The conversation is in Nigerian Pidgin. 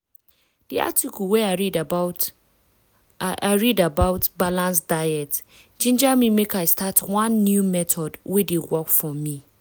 di article wey i read about i read about balanced diets ginger me make i start one new method wey dey work for me.